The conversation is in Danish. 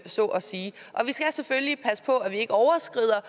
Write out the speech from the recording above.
så at sige og vi skal selvfølgelig passe på at vi ikke overskrider